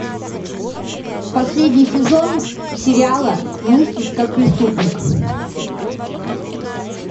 последний сезон сериала мыслить как преступник